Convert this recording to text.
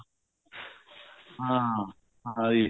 ਹਾਂ ਹਾਂਜੀ